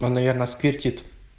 он наверное сквиртит